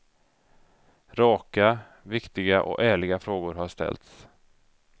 Raka, viktiga och ärliga frågor har ställts.